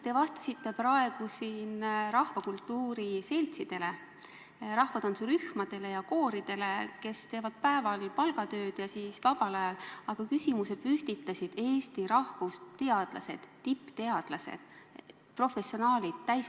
Te vastasite praegu siin, pidades silmas rahvakultuuri seltse, rahvatantsurühmasid ja koore, mille juhid teevad päeval palgatööd, aga küsimuse püstitasid Eesti rahvusteadlased, tippteadlased, professionaalid.